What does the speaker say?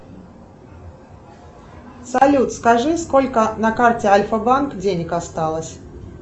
салют скажи сколько на карте альфа банк денег осталось